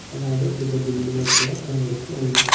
అలాగే పెద్ద బిల్డింగ్ కూడా కనబడుతూ ఉంది.